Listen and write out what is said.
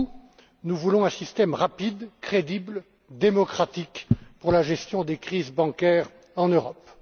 Comme vous, nous voulons un système rapide, crédible et démocratique pour la gestion des crises bancaires en Europe.